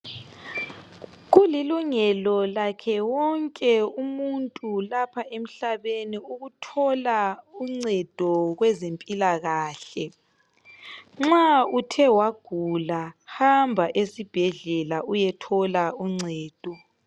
Kulilungelo lakhe wonke umuntu lapha emhlabeni ukuthola uncedo kwezempilakahle. Nxa uthe wagula, hamba esibhedlela uyethola uncedo.